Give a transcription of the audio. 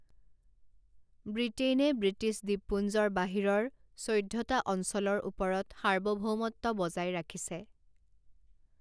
ব্ৰিটেইনে British দ্বীপপুঞ্জৰ বাহিৰৰ চৈধ্যটা অঞ্চলৰ ওপৰত সাৰ্বভৌমত্ব বজাই ৰাখিছে।